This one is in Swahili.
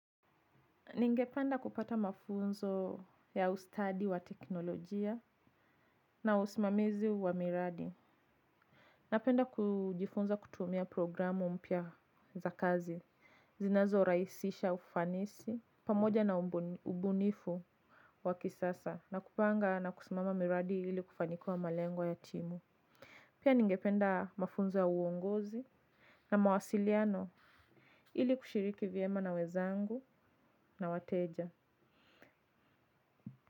Ningependa kupata mafunzo ya ustadi wa teknolojia na usimamizi wa miradi. Napenda kujifunza kutumia programu mpya za kazi, zinazorahisisha ufanisi, pamoja na ubunifu wa kisasa na kupanga na kusimamia miradi ili kufanikiwa malengo ya timu. Pia ningependa mafunzo ya uongozi na mawasiliano ili kushiriki vyema na wenzangu na wateja.